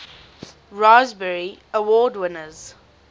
raspberry award winners